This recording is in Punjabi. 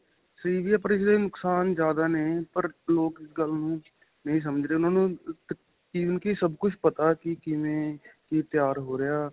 ਨੁਕਸ਼ਾਨ ਜਿਆਦਾ ਨੇ ਪਰ ਲੋਕ ਇਸ ਗੱਲ ਨਹੀਂ ਸਮਝ ਰਹੇ ਉਹਨਾ ਨੂੰ even ਕਿ ਸਭ ਕੁੱਛ ਪਤਾ ਕਿ ਕਿਵੇਂ ਤਿਆਰ ਹੋ ਰਹਿਆਂ